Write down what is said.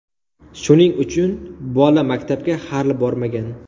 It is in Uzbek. Shuning uchun bola maktabga hali bormagan.